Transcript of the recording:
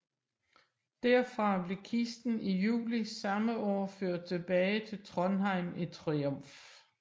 Derfra blev kisten i juli samme år ført tilbage til Trondheim i triumf